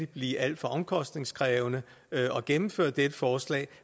blive alt for omkostningskrævende at gennemføre dette forslag